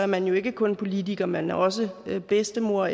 man jo ikke kun politiker man er også bedstemor